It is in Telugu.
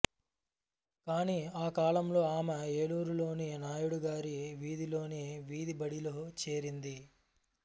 కానీ ఆ కాలంలో ఆమె ఏలూరులోని నాయుడుగారి వీధిలోని వీధిబడిలో చేరింది